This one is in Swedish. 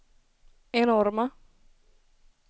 enorma